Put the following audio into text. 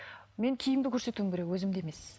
мен киімді көрсетуім керек өзімді емес